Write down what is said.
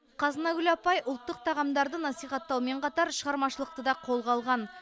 қазынагүл апай ұлттық тағамдарды насихаттаумен қатар шығармашылықты да қолға алған